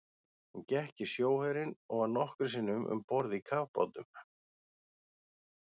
Hún gekk í sjóherinn og var nokkrum sinnum um borð í kafbátum.